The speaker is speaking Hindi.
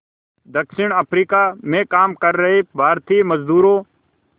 दक्षिण अफ्रीका में काम कर रहे भारतीय मज़दूरों